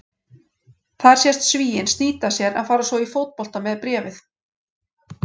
Þar sést Svíinn snýta sér en fara svo í fótbolta með bréfið.